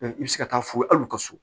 i bɛ se ka taa fo ye hali u ka so